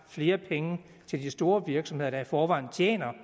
flere penge til de store virksomheder der i forvejen tjener